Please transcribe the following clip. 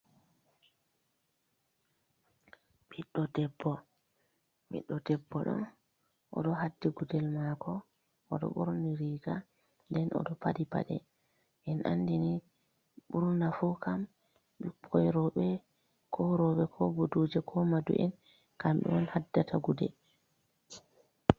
Ɓiɗdo debbo, Ɓiɗɗo debbo ɗo oɗon haddi gudel mako, oɗon ɓorni riga, nden oɗo faɗɗi paɗe, en andini burna fu kam ɓikkoy rewɓe, ko buduje ko madu'en kamɓe on haddata gudel.